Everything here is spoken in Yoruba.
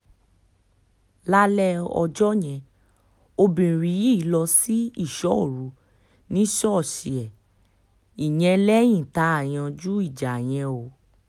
lálẹ́ ọjọ́ yẹn obìnrin yìí lọ sí ísọ̀ òru ní ṣọ́ọ̀ṣì ẹ̀ ìyẹn lẹ́yìn tá a yanjú ìjà yẹn o